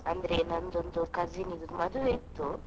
ಅಂದ್ರೆ ನಂದೊಂದು cousin ಇದ್ದು ಮದುವೆ ಇತ್ತು.